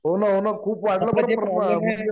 हो न हो न खूप वाढलं बरं प्रमाण